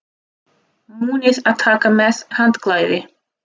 Munið að taka með handklæði!